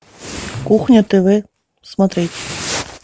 кухня тв смотреть